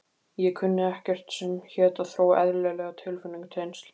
Ég kunni ekkert sem hét að þróa eðlileg tilfinningatengsl.